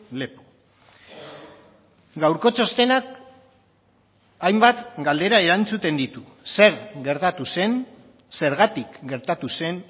lepo gaurko txostenak hainbat galdera erantzuten ditu zer gertatu zen zergatik gertatu zen